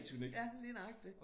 Ja lige nøjagtig